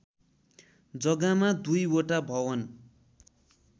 जग्गामा दुईवटा भवन